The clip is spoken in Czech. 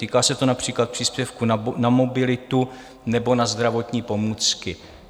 Týká se to například příspěvku na mobilitu nebo na zdravotní pomůcky.